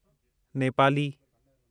Nepali